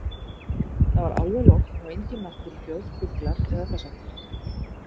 Það var alveg logn og engin náttúruhljóð, fuglar eða þess háttar.